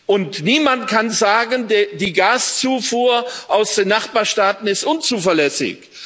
Und niemand kann sagen Die Gaszufuhr aus den Nachbarstaaten ist unzuverlässig.